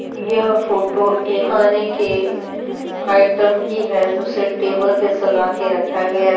यह फोटो एक खाने के आइटम की है जिसे टेबल पे सजा कर रखा गया है।